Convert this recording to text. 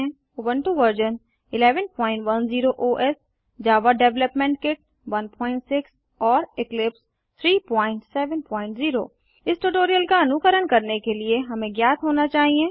Ubuntu version 1110 OS Java development kit 16 और Eclipse 370 इस tutorial का अनुकरण करने के लिए हमें ज्ञात होना चाहिए